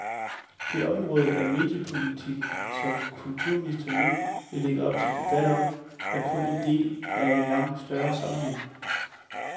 Det område af mediepolitikken, som kulturministeren nu lægger op til debat om, er kun en del af en langt større sammenhæng.